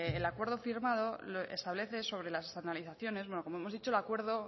el acuerdo firmado establece sobre las externalizaciones como hemos dicho el acuerdo